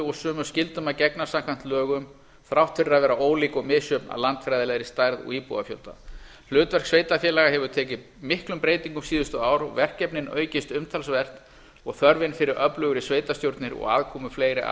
og sömu skyldum að gegna samkvæmt lögum þrátt fyrir að vera ólík og misjöfn að landfræðilegri stærð og íbúafjölda hlutverk sveitarfélaga hefur tekið miklum breytingum síðustu ár og verkefnin aukist umtalsvert og þörfin fyrir öflugar sveitarstjórnir og aðkomu fleiri að